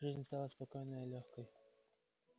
жизнь стала спокойной и лёгкой